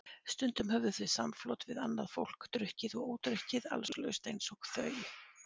Stundum höfðu þau samflot við annað fólk, drukkið og ódrukkið, allslaust eins og þau.